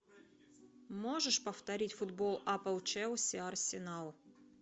можешь повторить футбол апл челси арсенал